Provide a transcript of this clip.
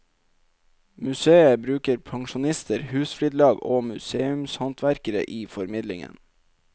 Museet bruker pensjonister, husflidslag og museumshåndverkere i formidlingen.